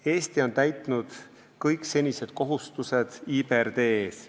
Eesti on täitnud kõik senised kohustused IBRD ees.